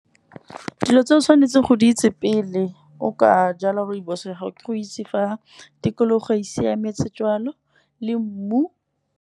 Dilo tse o tshwanetseng go di itse pele o ka jala rooibos ya gago, ke go itse fa tikologo e siametse jwalo le mmu.